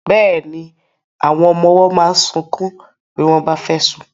Bẹ́ẹ̀ni, àwọn ọmọ ọwọ́ máa ń sunkún bí wọ́n bá fẹ́ sùn.